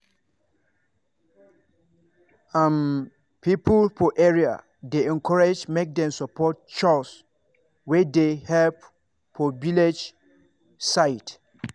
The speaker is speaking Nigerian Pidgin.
um people for area dey encouraged make dem support chws wey dey help for village side.